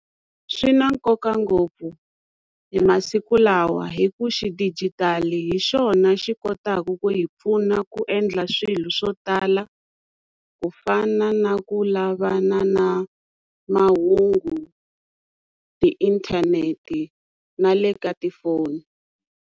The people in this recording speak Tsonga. Swi na nkoka ngopfu hi masiku lawa hi ku xidijitali hi xona xi kotaka ku hi pfuna ku endla swilo swo tala ku fana na ku lavana na mahungu tiinthanete na le ka tifoni.